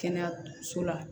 Kɛnɛyaso la